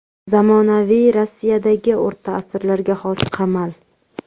Zamonaviy Rossiyadagi o‘rta asrlarga xos qamal.